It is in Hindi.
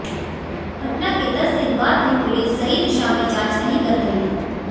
घटना के दस दिन बाद भी पुलिस सही दिशा में जांच नहीं कर रही है